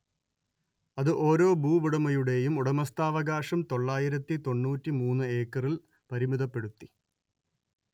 അത് ഓരോ ഭൂവുടമയുടെയും ഉടമസ്ഥാവകാശം തൊള്ളായിരത്തി തൊണ്ണൂറ്റി മൂന്ന് ഏക്കറിൽ പരിമിതപ്പെടുത്തി